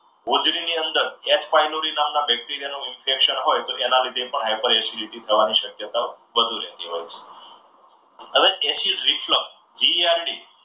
હોજરી ની અંદર H pylori નામના bacteria નું infection હોય તો તેના લીધે પણ high per acidity થવાની શક્યતા વધુ રહેતી હોય છે. હવે acid reflect